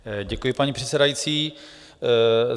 Děkuji, paní předsedající.